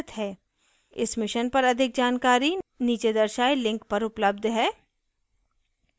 इस mission पर अधिक जानकारी नीचे दर्शाये link पर उपलब्ध है